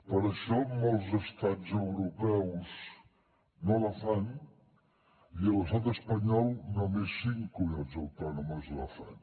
per això molts estats europeus no la fan i a l’estat espanyol només cinc comunitats autònomes la fan